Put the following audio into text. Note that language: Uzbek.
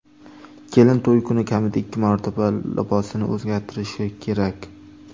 Kelin to‘y kuni kamida ikki marotaba libosini o‘zgartirishi kerak.